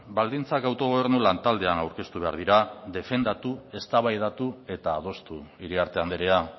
baldintzak autogobernu lantaldean aurkeztu behar dira defendatu eztabaidatu eta adostu iriarte andrea